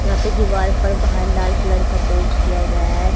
यहां पे दीवार पर बाहर लाल कलर का पेंट किया गया है।